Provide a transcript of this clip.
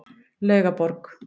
Laugaborg